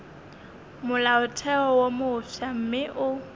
molaotheo wo mofsa mme o